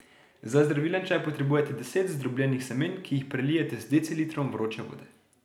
Za zdravilen čaj potrebujete deset zdrobljenih semen, ki jih prelijete z decilitrom vroče vode.